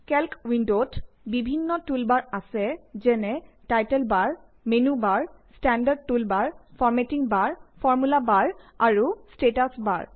calc উইন্ডৰ বিভিন্ন toolbar আছে যেনে title bar menu bar standard toolbar formatting bar formula bar আৰু ষ্টেটাচ বাৰ